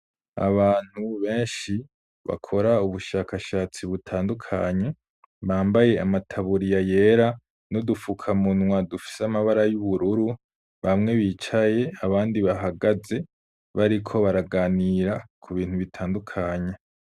Abantu benshi bakor'ubushakashatsi butandukanye , bambaye amataburiya yera, n'udufuka munwa dufis'amabara y'ubururu, bamwe bicaye abandi bahagaze bariko baraganira kubintu bitandukanye